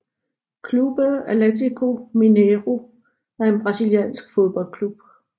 Clube Atletíco Mineiro er en brasiliansk fodboldklub